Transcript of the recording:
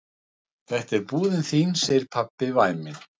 Þetta er búðin þín, segir pabbi væminn.